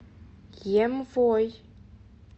емвой